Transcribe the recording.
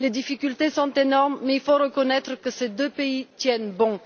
Les difficultés sont énormes mais il faut reconnaître que ces deux pays tiennent bon.